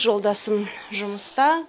жолдасым жұмыста